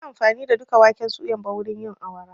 Ban yi amfani da duka waken suyan ba wurin yin awara.